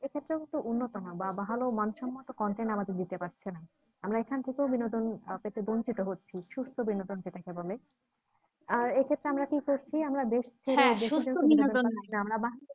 উন্নত না বা ভালো মানসম্মত content আমাদের দিতে পারছে না আমরা এখান থেকেও বিনোদন আহ পেতে বঞ্চিত হচ্ছি সুস্থ বিনোদন যেটাকে বলে আর এক্ষেত্রে আমরা কি করছি আমর